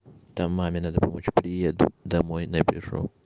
там маме надо помочь приеду домой напишу